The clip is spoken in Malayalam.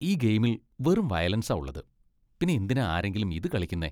ഈ ഗെയിമിൽ വെറും വയലൻസാ ഉള്ളത് . പിന്നെ എന്തിനാ ആരെങ്കിലും ഇത് കളിക്കുന്നേ ?